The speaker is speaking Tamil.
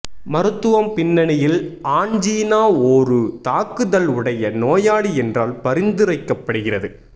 மருத்துவம் பின்னணியில் ஆன்ஜினா ஒரு தாக்குதல் உடைய நோயாளி என்றால் பரிந்துரைக்கப்படுகிறது